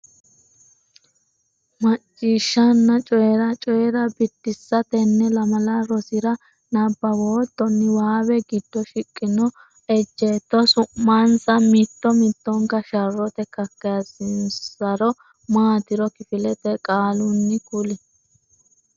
Macciishshanna Coyi’ra: Coyi’ra Biddissa Tenne lamala rosira nabbawootto niwaawe giddo shiqqino ejjeetto su’mansanna mitto mittonka sharrote kakkaysinonsari maatiro kifilete qaalunni kuli.